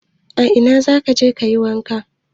A ina za ka je ka yi wanka?